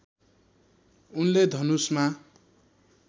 उनले धनुषमा